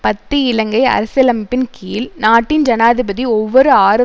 பத்து இலங்கை அரசியலமைப்பின் கீழ் நாட்டின் ஜனாதிபதி ஒவ்வொரு ஆறு